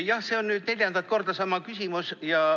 Jah, see on nüüd neljandat korda sama küsimus.